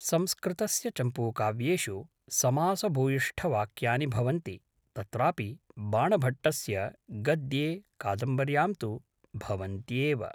संस्कृतस्य चम्पूकाव्येषु समासभूयिष्ठवाक्यानि भवन्ति तत्रापि बाणभट्टस्य गद्ये कादम्बर्यां तु भवन्त्येव